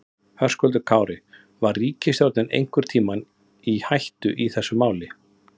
Höskuldur Kári: Var ríkisstjórnin einhvern tímann í hættu í þessu máli?